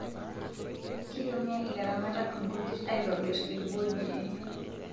Kitumia ilaramatak nkujit aitobir irbojii